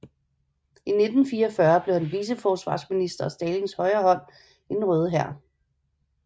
I 1944 blev han viceforsvarsminister og Stalins højre hånd i den røde hær